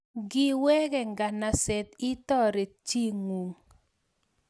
ngiweke nganaset itoret chingung